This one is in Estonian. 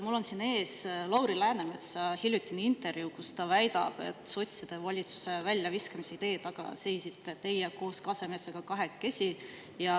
Mul on siin ees Lauri Läänemetsa hiljutine intervjuu, kus ta väidab, et sotside valitsusest väljaviskamise idee taga seisite teie koos Kasemetsaga kahekesi.